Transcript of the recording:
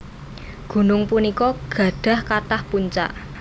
Gunung punika gadhah kathah puncak